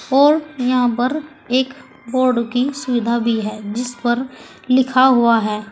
और यहां पर एक बोर्ड की सुविधा भी है जिस पर लिखा हुआ है।